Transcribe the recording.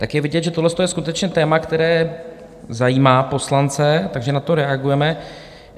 Tak je vidět, že tohleto je skutečně téma, které zajímá poslance, takže na to reagujeme.